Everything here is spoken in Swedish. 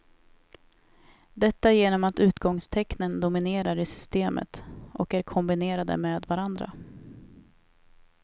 Detta genom att utgångstecknen dominerar i systemet och är kombinerade med varandra.